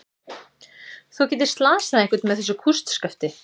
Þú gætir slasað einhvern með þessu kústskafti.